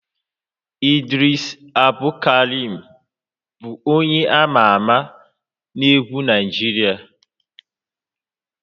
Idris Abdulkarim bụ onye ama ama na egwu Naịjirịa